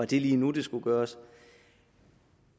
det lige nu det skulle gøres